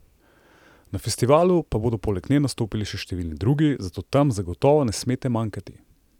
Na festivalu pa bodo poleg nje nastopili še številni drugi, zato tam zagotovo ne smete manjkati!